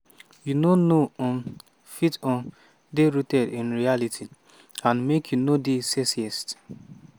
you no no um fit um dey rooted in reality and make you no dey sexist."